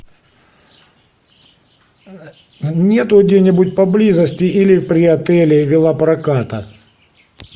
нету где нибудь поблизости или при отеле велопроката